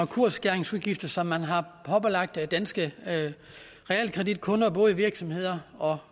kursskæringsudgifter som man har pålagt danske realkreditkunder både virksomheder og